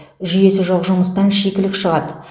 жүйесі жоқ жұмыстан шикілік шығады